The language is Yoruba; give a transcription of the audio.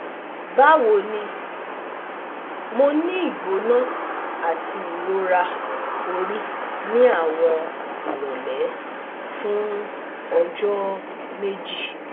bawo ni, Mo ni igbona ati irora ori ni awọn irole fun ọjọ meji